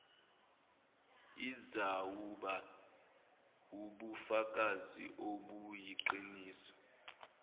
izawuba wubufakazi obuyiqiniso